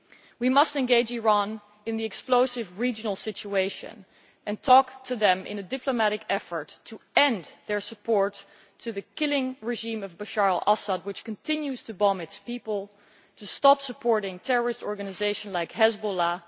We must engage Iran in the explosive regional situation and talk to them in a diplomatic effort to end their support for the murderous regime of Bashar al Assad, which continues to bomb its people, and to stop supporting terrorist organisations like Hezbollah.